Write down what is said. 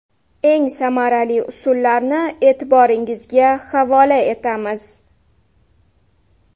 Eng samarali usullarni e’tiboringizga havola etamiz.